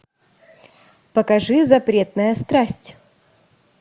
покажи запретная страсть